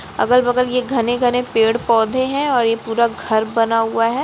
अगल बगल ये घने-घने पेड़ पौधे हैं और ये पूरा घर बना हुआ है।